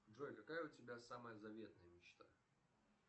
джой какая у тебя самая заветная мечта